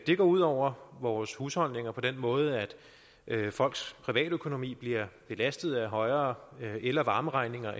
det går ud over vores husholdninger på den måde at folks privatøkonomi bliver belastet af højere el og varmeregninger